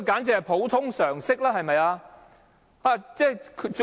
這是普通常識，對嗎？